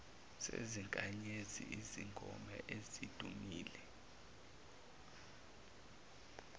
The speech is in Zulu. sezinkanyezi izingoma ezidumile